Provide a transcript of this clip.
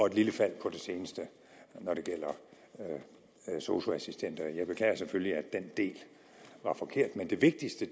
et lille fald når det gælder sosu assistenter jeg beklager selvfølgelig at den del var forkert men det vigtigste